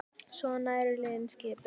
Svona eru liðin skipuð